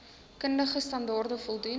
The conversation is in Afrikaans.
kundige standaarde voldoen